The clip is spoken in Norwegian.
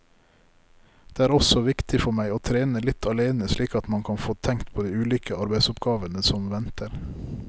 Det er også viktig for meg å trene litt alene slik at man kan få tenkt på de ulike arbeidsoppgavene som venter.